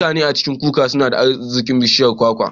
Mutanan ƙasar Cuba nada arzikin bishiyar kwakwa